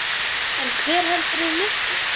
En hver heldur þeim uppi?